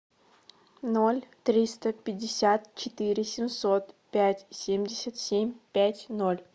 ноль триста пятьдесят четыре семьсот пять семьдесят семь пять ноль